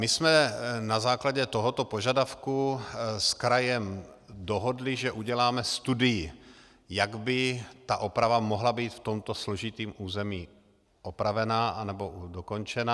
My jsme na základě tohoto požadavku s krajem dohodli, že uděláme studii, jak by ta oprava mohla být v tomto složitém území opravena anebo dokončena.